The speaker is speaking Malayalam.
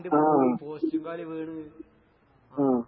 ആഹ് ഉം.